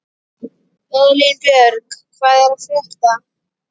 Elínbjörg, hvað er að frétta?